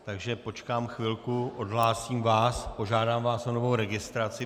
Takže počkám chvilku, odhlásím vás, požádám vás o novou registraci.